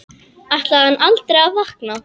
Ætlar hann aldrei að vakna?